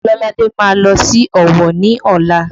Ololade má lọ sí Ọ̀wọ̀ ni ọla